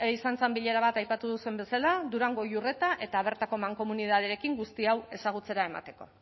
izan zen bilera bat aipatu duzuen bezala durango iurreta eta bertako mankomunitatearekin guzti hau ezagutzera emateko